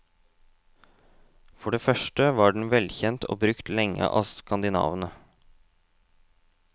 For det første var den velkjent og brukt lenge av skandinavene.